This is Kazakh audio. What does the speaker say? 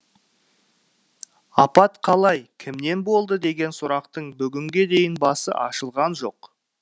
апат қалай кімнен болды деген сұрақтың бүгінге дейін басы ашылған жоқ